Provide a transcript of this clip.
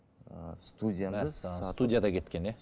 мәссаған студия да кеткен иә